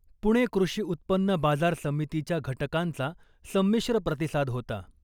पुणे कृषी उत्पन्न बाजार समितीच्या घटकांचा संमिश्र प्रतिसाद होता .